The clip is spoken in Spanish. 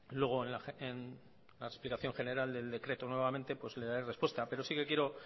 luego en la explicación general del decreto nuevamente pues le daré respuesta pero sí que quiero